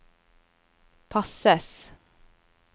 passes